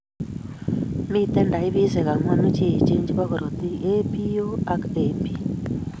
Miten taipisiek ang'wanu cheechen chebo korotik:A,B,O ak AB